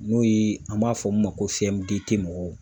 N'o ye an b'a fɔ min ma ko mɔgɔw